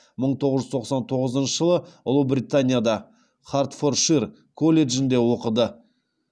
мың тоғыз жүз тоқсан тоғызыншы жылы ұлыбританияда хардфоршир колледжінде оқыды